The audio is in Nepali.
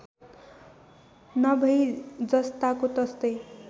नभई जस्ताको तस्तै